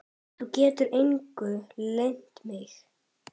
Þú getur engu leynt mig.